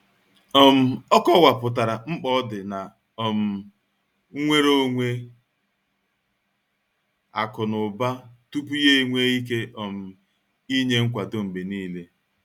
um Ọ kọwapụtara mkpa ọdị na um nnwere onwe akụ na ụba tupu ya enwee ike um inye nkwado mgbe niile.